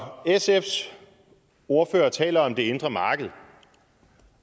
når sfs ordfører taler om det indre marked